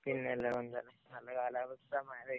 പിന്നല്ലാതെന്താ, നല്ല കാലാവസ്ഥ, മഴ പെയ്യുന്നുണ്ട്.